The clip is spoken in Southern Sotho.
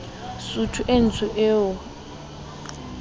sutu e ntsho eo a